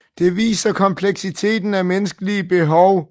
Det viser kompleksiteten af menneskelige behov